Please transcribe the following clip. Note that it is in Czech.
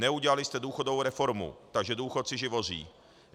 Neudělali jste důchodovou reformu, takže důchodci živoří.